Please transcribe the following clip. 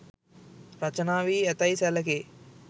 රචනා වී ඇතැයි සැලකේ.